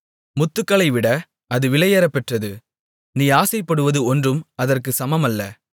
முத்துக்களைவிட அது விலையேறப்பெற்றது நீ ஆசைப்படுவது ஒன்றும் அதற்கு சமமல்ல